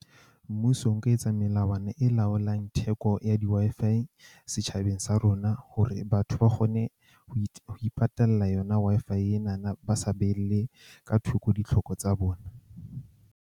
Mmuso o ka etsa melawana e laolang theko ya di-Wi-Fi setjhabeng sa rona. Hore batho ba kgone ho ho ipatalla yona, Wi-Fi ena na ba sa behele ka thoko ditlhoko tsa bona.